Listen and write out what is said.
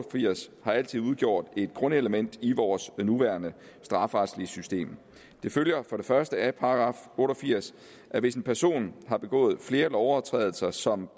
firs har altid udgjort et grundelement i vores nuværende strafferetlige system det følger for det første af § otte og firs at hvis en person har begået flere lovovertrædelser som